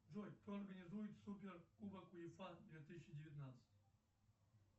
джой кто организует супер кубок уефа две тысячи девятнадцать